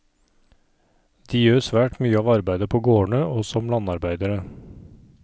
De gjør svært mye av arbeidet på gårdene, og som landarbeidere.